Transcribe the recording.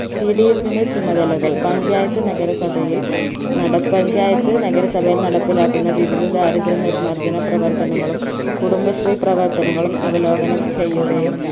cds ന്റെ ചുമതലകൾ പഞ്ചായത്ത് നഗരസഭയിൽ നട പഞ്ചായത് നഗരസഭയിൽ നടപ്പിലാക്കുന്ന വിവിധ ദാരിദ്ര്യ നിർമാർജന പ്രവർത്തനങ്ങളും കുടുംബശ്രീ പ്രവർത്തനങ്ങളും അവലോകനം ചെയ്യുകയും